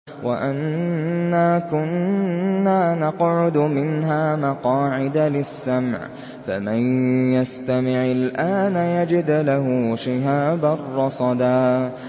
وَأَنَّا كُنَّا نَقْعُدُ مِنْهَا مَقَاعِدَ لِلسَّمْعِ ۖ فَمَن يَسْتَمِعِ الْآنَ يَجِدْ لَهُ شِهَابًا رَّصَدًا